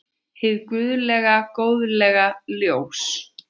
Hið guðlega góðlega ljós.